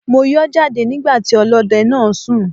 Mo yọ́ jáde nígbà tí ọlọ́dẹ náà ń sùn.